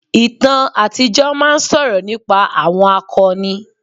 Ìtàn àtijọ́ máa ń sọ̀rọ̀ nípa àwọn akọni.